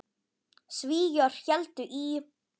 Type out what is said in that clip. Svíar héldu í